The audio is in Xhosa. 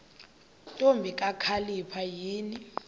ntombi kakhalipha yini